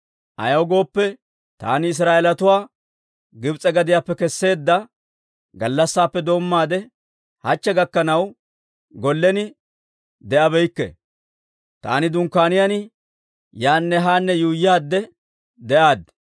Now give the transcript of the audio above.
Ayaw gooppe, taani Israa'eelatuwaa Gibs'e gadiyaappe kesseedda gallassaappe doommaade hachche gakkanaw gollen de'abeykke; taani dunkkaaniyaan yaanne haanne yuuyyaadde de'aad.